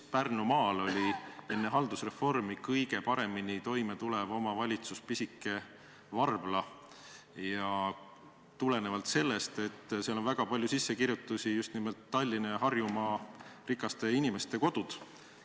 Pärnumaal oli enne haldusreformi kõige paremini toime tulev omavalitsus pisike Varbla ja just tulenevalt sellest, et seal on väga palju sissekirjutusi, seal on Tallinna ja Harjumaa rikaste inimeste kodud.